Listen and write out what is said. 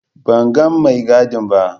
Ban ga mai gadin ba.